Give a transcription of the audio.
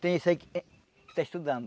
Tem esse aí que está estudando.